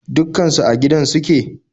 Dukkan su a gidan suke?